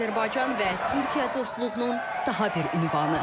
Azərbaycan və Türkiyə dostluğunun daha bir ünvanı.